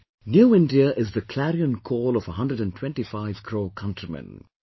'New India' is the clarion call of 125 crore countrymen